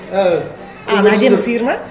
а ана әдемі сиыр ма